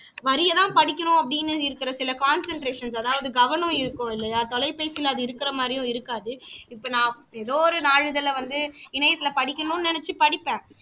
வரியெல்லாம் படிக்குறோம் அப்படின்னு இருக்கிற சில concentrations அதாவது கவனம் இருக்கும் இல்லையா தொலைபேசியில அது இருக்கிற மாதிரியும் இருக்காது இப்ப நான் எதோ ஒரு நாளிதழில வந்து இணையத்தில படிக்கணுன்னு நினைச்சு படிப்பேன்